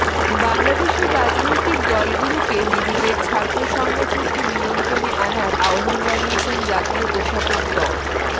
বাংলাদেশের রাজনৈতিক দলগুলোকে নিজেদের ছাত্র সংগঠনকে নিয়ন্ত্রণে আনার আহ্বান জানিয়েছেন জাতীয় অধ্যাপক ড